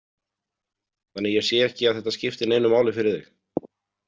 Þannig að ég sé ekki að þetta skipti neinu máli fyrir þig.